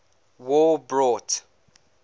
war brought